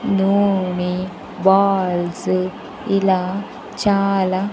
నూని బాల్స్ ఇలా చాలా--